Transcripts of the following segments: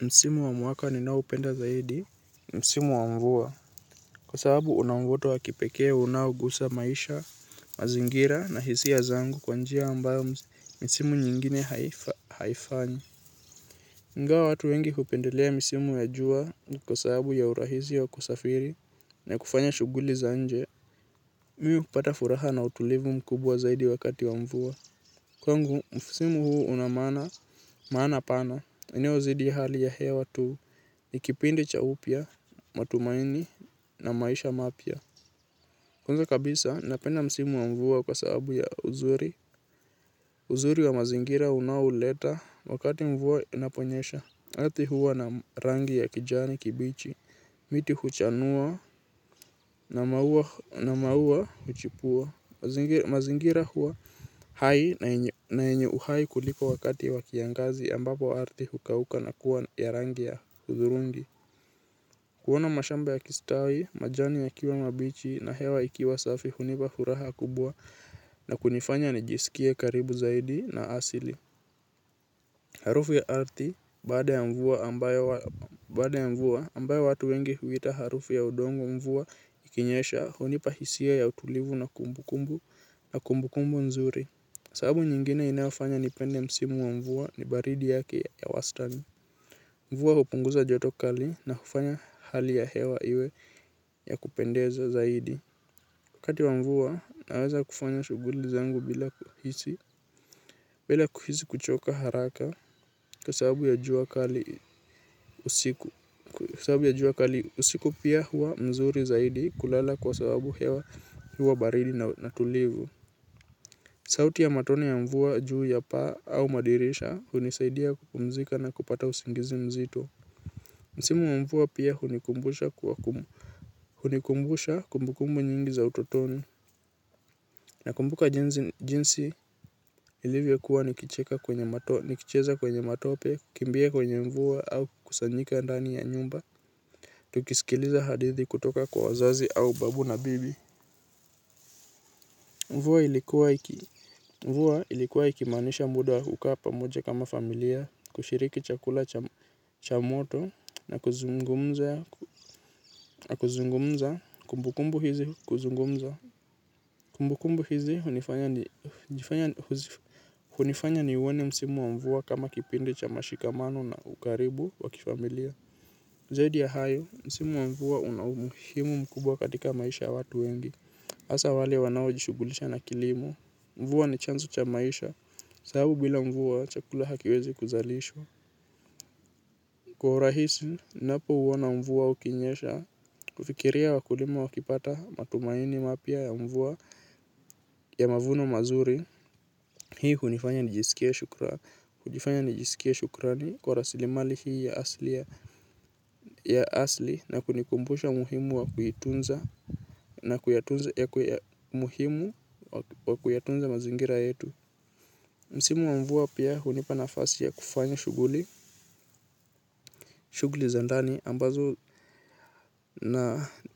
Msimu wa mwaka ninao upenda zaidi. Msimu wa mvua. Kwa sababu una mvuto wa kipekee unaogusa maisha, mazingira na hisia zangu kwa njia ambayo misimu nyingine haifanyi. Ingawa watu wengi hupendelea misimu ya jua kwa sababu ya urahisi ya kusafiri na kufanya shughuli za nje, mimi hupata furaha na utulivu mkubwa zaidi wakati wa mvua. Kwangu, msimu huu una maana, maana pana. Inayozidi hali ya hewa tu. Ni kipindi cha upya, matumaini na maisha mapya. Kwanza kabisa, napenda msimu wa mvua kwa sababu ya uzuri wa mazingira unaouleta wakati mvua inaponyesha ardhi huwa na rangi ya kijani kibichi. Miti huchanua na maua huchipua mazingira huwa hai na yenye uhai kuliko wakati wa kiangazi ambapo ardhi hukauka na kuwa ya rangi ya hudhurungi. Kuona mashamba ya kistawi, majani yakiwa mabichi na hewa ikiwa safi hunipa furaha kubwa na kunifanya nijisikie karibu zaidi na asili. Harufu ya ardhi baada ya mvua ambayo watu wengi huita harufu ya udongo mvua ikinyesha, hunipa hisia ya utulivu na kumbu kumbu na kumbu kumbu nzuri. Sababu nyingine inayofanya nipende msimu wa mvua ni baridi yake ya wastani. Mvua hupunguza joto kali na kufanya hali ya hewa iwe ya kupendeza zaidi. Wakati wa mvua naweza kufanya shughuli zangu bila kuhisi. Bila kuhisi kuchoka haraka kwa sababu ya jua kali usiku. Sababu ya jua kali usiku pia huwa mzuri zaidi kulala kwa sababu hewa huwa baridi na tulivu. Sauti ya matone ya mvua juu ya paa au madirisha hunisaidia kupumzika na kupata usingizi mzito. Msimu mvua pia hunikumbusha kumbu kumbu nyingi za utotoni. Nakumbuka jinsi nilivyokuwa nikicheza kwenye matope, kukimbia kwenye mvua au kukusanyika ndani ya nyumba. Tukisikiliza hadithi kutoka kwa wazazi au babu na bibi mvua ilikuwa ikimaanisha muda wakukaa pamoja kama familia kushiriki chakula cha moto na kuzungumza kumbu kumbu hizi kuzungumza kumbu kumbu hizi hunifanya. Hunifanya niuone msimu wa mvua kama kipindi cha mashikamano na ukaribu wa kifamilia. Zaidi ya hayo, msimu wa mvua una umuhimu mkubwa katika maisha ya watu wengi, hasa wale wanao jishugulisha na kilimo. Mvua ni chanzo cha maisha, sababu bila mvua chakula hakiwezi kuzalishwa. Kwa hurahisi, ninapo uona mvua ukinyesha, hufikiria wakulima wakipata matumaini mapya ya mvua ya mavuno mazuri. Hii hunifanya nijiskie shukrani kwa rasilimali hii ya asilia ya asili na kunikumbusha umuhimu wa kuitunza na kuyatunza, muhimu wa kuyatunza mazingira yetu. Msimu wa mvua pia hunipa nafasi ya kufanya shughuli. Shuguli za ndani ambazo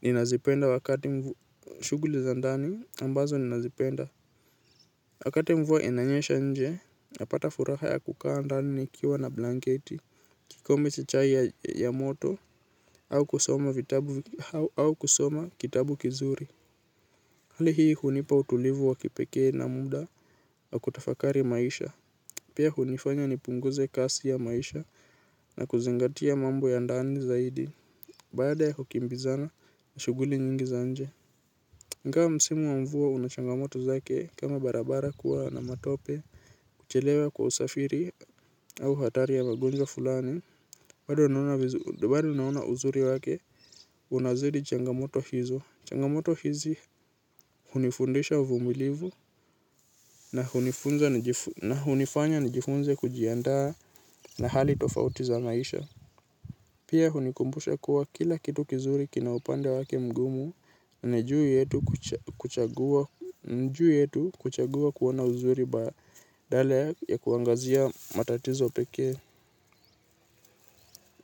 ninazipenda wakati. Shughuli za ndani ambazo ninazipenda wakati mvua inanyesha nje napata furaha ya kukaa ndani nikiwa na blanketi kikombe cha chai ya moto au kusoma vitabu au kusoma kitabu kizuri hali hii hunipa utulivu wa kipekee na muda wa kutafakari maisha. Pia hunifanya nipunguze kasi ya maisha, na kuzingatia mambo ya ndani zaidi. Baada ya kukimbizana na shuguli nyingi za nje ingawa msimu wa mvua una changamoto zake kama barabara kuwa na matope, kuchelewa kwa usafiri au hatari ya magonjwa fulani bado naona uzuri wake, unazidi changamoto hizi. Changamoto hizi hunifundisha uvumilivu na hunifanya nijifunze kujiandaa na hali tofauti za maisha. Pia hunikumbusha kuwa kila kitu kizuri kina upande wake mgumu. Na juu yetu kuchagua kuona uzuri badala ya kuangazia matatizo pekee.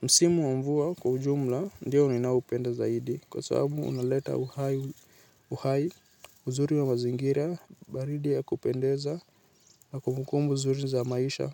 Msimu wa mvua kwa ujumla ndio ninaoupenda zaidi kwa sababu unaleta uhai, uzuri wa mazingira, baridi ya kupendeza na kumu kumbu nzuri za maisha.